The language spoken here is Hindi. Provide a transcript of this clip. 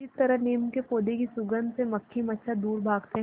जिस तरह नीम के पौधे की सुगंध से मक्खी मच्छर दूर भागते हैं